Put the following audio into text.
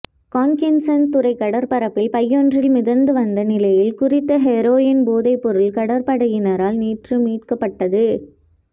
காங்கேசன்துறை கடற்பரப்பில் பையொன்றில் மிதந்து வந்த நிலையில் குறித்த ஹெரோயின் போதைப்பொருள் கடற்படையினரால் நேற்று மீட்கப்பட்டது